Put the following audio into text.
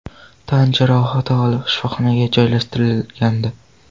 tan jarohati olib, shifoxonaga joylashtirilgandi.